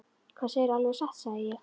Það segirðu alveg satt, sagði ég.